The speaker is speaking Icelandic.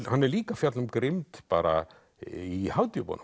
hann er líka að fjalla um grimmd bara í